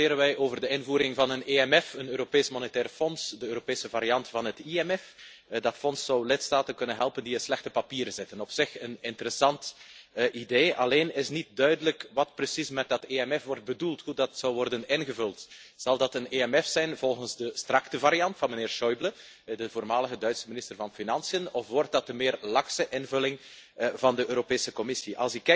Vandaag debatteren wij over de invoering van een EMF, een Europees Monetair Fonds, de Europese variant van het IMF. Dat fonds zou lidstaten kunnen helpen die in slechte papieren zitten. Op zich een interessant idee, alleen is niet duidelijk wat precies met dat EMF wordt bedoeld, hoe dat zal worden ingevuld. Zal dat een EMF zijn volgens de strikte variant van meneer Schäuble, de voormalige Duitse minister van Financiën, of wordt dat de meer lakse invulling van de Europese Commissie?